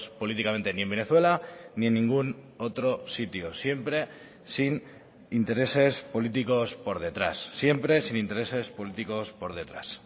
políticamente ni en venezuela ni en ningún otro sitio siempre sin intereses políticos por detrás siempre sin intereses políticos por detrás